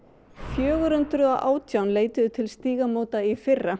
fjögur hundruð og átján leituðu til Stígamóta í fyrra